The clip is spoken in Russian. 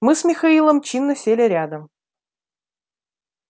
мы с михаилом чинно сели рядом